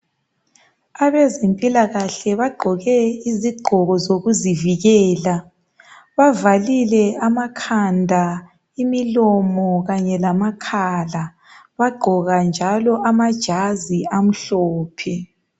Abezempilakahle bagqoke izigqoko zokuzivikela bavalile amakhanda, imilomo kanye lamakhala bagqoka njalo amajazi amhlophe.